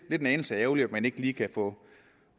er en anelse ærgerligt at man ikke lige kan få